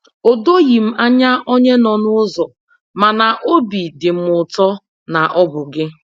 O doghị m anya onye nọ n'ụzọ, mana óbị dị m ụtọ na ọ bụ gị.